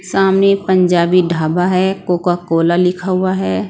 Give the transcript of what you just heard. सामने पंजाबी ढाबा है Coca Cola लिखा हुआ है।